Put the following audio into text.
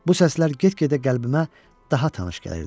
Bu səslər get-gedə qəlbimə daha tanış gəlirdi.